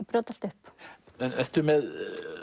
brjóta allt upp ertu með